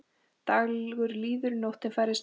Dagur líður, nóttin færist nær.